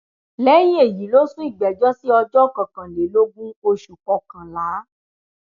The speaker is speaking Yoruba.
lẹyìn èyí ló sún ìgbẹjọ sí ọjọ kọkànlélógún oṣù kọkànlá